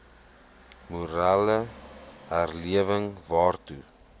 morele herlewing waartoe